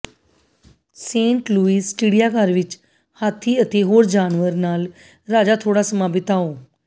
Saint Louis ਚਿੜੀਆਘਰ ਵਿਚ ਹਾਥੀ ਅਤੇ ਹੋਰ ਜਾਨਵਰ ਨਾਲ ਰਾਜਾ ਥੋੜਾ ਸਮਾਂ ਬਿਤਾਓ